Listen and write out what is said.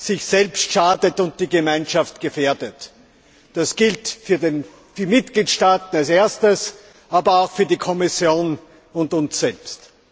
sich selbst schadet und die Gemeinschaft gefährdet. Das gilt zunächst für die Mitgliedstaaten, aber auch für die Kommission und uns selbst.